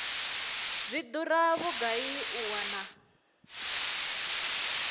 zwi dura vhugai u wana